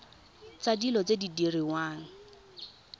tsa dilo tse di diriwang